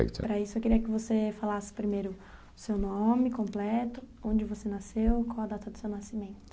E para isso eu queria que você falasse primeiro o seu nome completo, onde você nasceu, qual a data do seu nascimento.